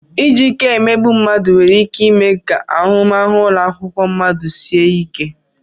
Iji ike emegbu mmadụ nwere ike ime ka ahụmahụ ụlọ akwụkwọ mmadụ sie ike.